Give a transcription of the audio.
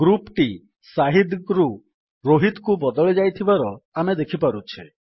group ଟି ଶାହିଦ ରୁ rohitକୁ ବଦଳି ଯାଇଥିବାର ଆମେ ଦେଖିପାରୁଛେ